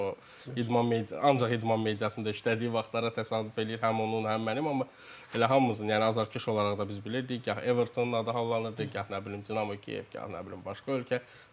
O idman ancaq idman mediasında işlədiyi vaxtlara təsadüf eləyir həm onun, həm mənim, amma elə hamımızın, yəni azərkeş olaraq da biz bilirdik gah Evertonın adı hallanırdı, gah nə bilim Dinamo Kiyev, gah nə bilim başqa ölkə.